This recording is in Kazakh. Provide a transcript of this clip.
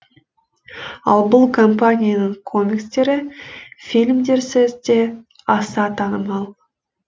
ал бұл компанияның комикстері фильмдерсіз де аса танымал